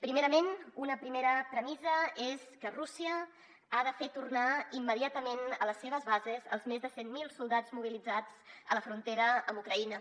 primerament una primera premissa és que rússia ha de fer tornar immediatament a les seves bases els més de cent mil soldats mobilitzats a la frontera amb ucraïna